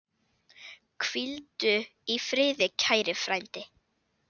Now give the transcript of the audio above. Hvíldu í friði, kæri frændi.